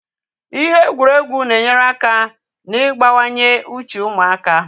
Ihe egwuregwu na-enyere aka na igbawanye uche ụmụaka